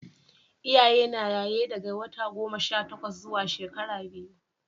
Iyaye na yaye daga wata goma Sha takwas zuwa shekara biyu